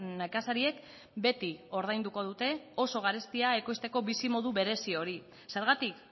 nekazariek beti ordainduko dute oso garestia ekoizteko bizimodu berezi hori zergatik